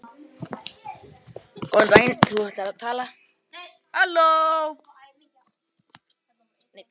Stuttu síðar hélt Úlfar frá Þýskalandi á undan félögum sínum.